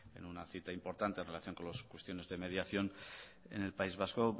en una cita importante en relación con las cuestiones de mediación en el país vasco